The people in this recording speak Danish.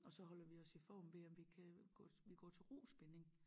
Og så holder vi os i form ved at vi kan gå vi går til rospinning